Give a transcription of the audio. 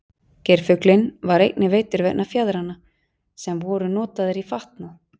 geirfuglinn var einnig veiddur vegna fjaðranna sem voru notaðar í fatnað